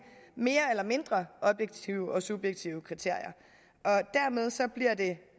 mere eller mindre objektive og subjektive kriterier og dermed bliver det